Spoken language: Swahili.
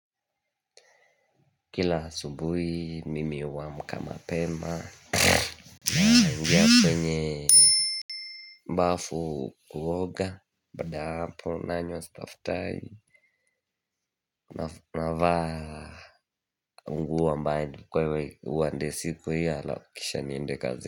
Kila asubuhi mimi huamka mapema, naingia kwenye bafu kuoga, baada ya hapo nanywa chai. Navaa nguo ambazo nimeandaa kwa ajili ya siku hiyo, kisha naenda kazini.